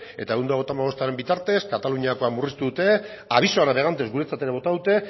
eta ehun eta berrogeita hamabostaren bitartez kataluniakoa murriztu dute aviso a navegantes guretzat ere bota dute